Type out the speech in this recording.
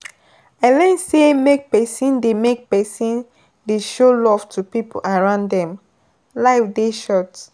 I learn sey make pesin dey make pesin dey show love to pipo around dem, life dey short.